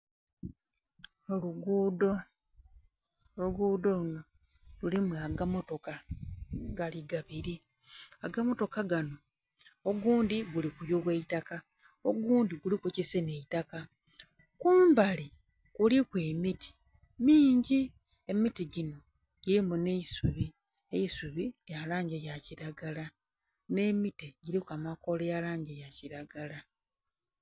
Olugudho, olugudho luno lulimu aga mmotoka gali gabiri aga mmotoka ganho ogundhi guli kuyugha aitaka ogundhi guliku ekisenha aitaka kumbali kuliku emiti mingi, emiti ginho girimu nheisuubi, aisubi lyalangi yakilagala nhe miti giriku amakola galangi yakilagala